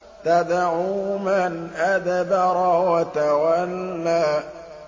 تَدْعُو مَنْ أَدْبَرَ وَتَوَلَّىٰ